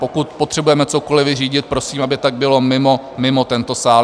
Pokud potřebujeme cokoliv vyřídit, prosím, aby tak bylo mimo tento sál.